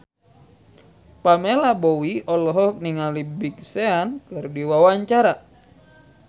Pamela Bowie olohok ningali Big Sean keur diwawancara